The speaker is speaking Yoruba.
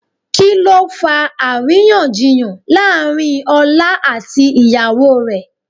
Kí ló fa àríyànjiyàn láàrín ọlá àti ìyàwó rẹ̀?